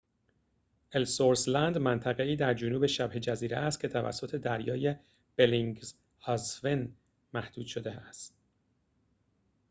الثورث لند منطقه‌ای در جنوب شبه‌جزیره است که توسط دریای بلینگسهاوزن محدود شده است